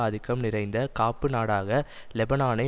ஆதிக்கம் நிறைந்த காப்பு நாடாக லெபனானை